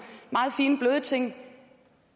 meget fine bløde ting